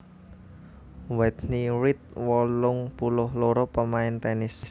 Whitney Reed wolung puluh loro pamain tènis